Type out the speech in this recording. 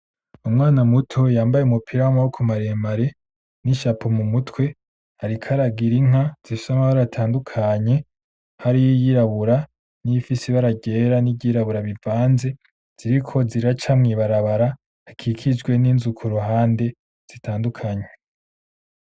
Umwana muto yambaye umupira w'amaboko maremare n'i "chapeau" mumutwe ariko aragira inka zifise amabara atandukanye, hariho iyirabura niyifise ibara ryera niry'irabura bivanze , ziriko ziraca mwibarabara akikijwe n'inzu kuruhande zitandukanye .